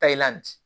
Ta i la bi